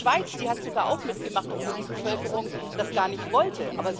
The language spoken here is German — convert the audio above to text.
Die Schweiz hat sogar auch mitgemacht, obwohl die Bevölkerung das gar nicht wollte.